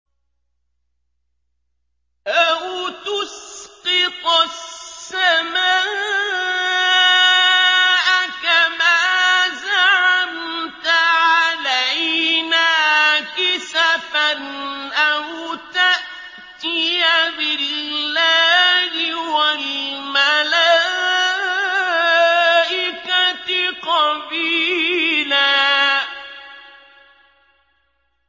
أَوْ تُسْقِطَ السَّمَاءَ كَمَا زَعَمْتَ عَلَيْنَا كِسَفًا أَوْ تَأْتِيَ بِاللَّهِ وَالْمَلَائِكَةِ قَبِيلًا